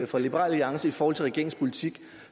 fra liberal alliance i forhold til regeringens politik